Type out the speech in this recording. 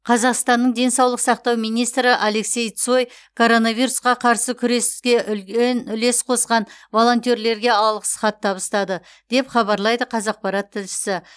қазақстанның денсаулық сақтау министрі алексей цой коронавирусқа қарсы күреске үен үлес қосқан волонтерлерге алғыс хат табыстады деп хабарлайды қазақпарат тілшісі